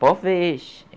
Talvez.